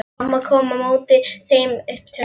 Mamma kom á móti þeim upp tröppurnar.